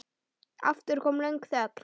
Aftur kom löng þögn.